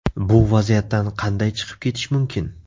Bu vaziyatdan qanday chiqib ketish mumkin?